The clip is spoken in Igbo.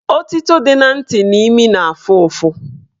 Otito dị na ntị na imi na-afụ ụfụ